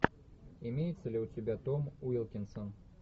имеется ли у тебя том уилкинсон